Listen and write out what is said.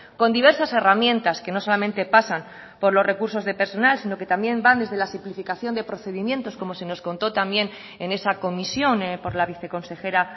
con diversas herramientas que no solamente pasan por los recursos de persona sino que también van desde la simplificación de procedimientos como se nos contó también en esa comisión por la viceconsejera